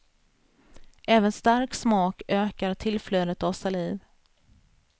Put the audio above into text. Även stark smak ökar tillflödet av saliv.